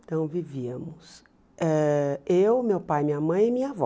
Então, vivíamos ãh eu, meu pai, minha mãe e minha avó.